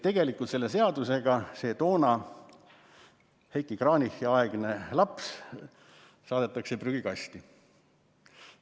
Tegelikult selle seadusega see Heiki Kranichi aegne laps saadetakse prügikasti.